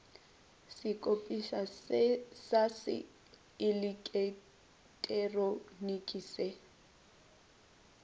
sekopišwa sa se eleketeroniki se